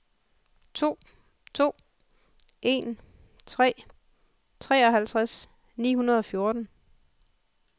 to to en tre treoghalvtreds ni hundrede og fjorten